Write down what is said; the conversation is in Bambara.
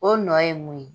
O nɔ ye mun ye